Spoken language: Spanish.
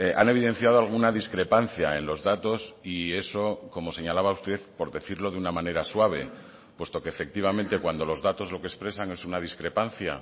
han evidenciado alguna discrepancia en los datos y eso como señalaba usted por decirlo de una manera suave puesto que efectivamente cuando los datos lo que expresan es una discrepancia